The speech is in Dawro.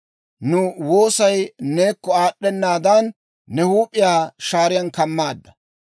Nu woosay neekko aad'd'enaadan, ne huup'iyaa shaariyaan kammaadda.